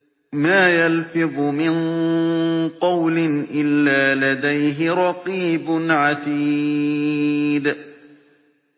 مَّا يَلْفِظُ مِن قَوْلٍ إِلَّا لَدَيْهِ رَقِيبٌ عَتِيدٌ